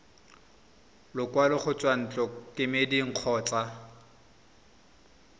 lekwalo go tswa ntlokemeding kgotsa